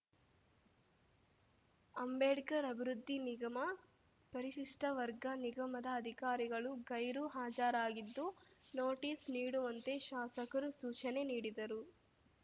ಅಂಬೇಡ್ಕರ್‌ ಅಭಿವೃದ್ಧಿ ನಿಗಮ ಪರಿಶಿಷ್ಟವರ್ಗ ನಿಗಮದ ಅಧಿಕಾರಿಗಳು ಗೈರು ಹಾಜರಾಗಿದ್ದು ನೋಟಿಸ್‌ ನೀಡುವಂತೆ ಶಾಸಕರು ಸೂಚನೆ ನೀಡಿದರು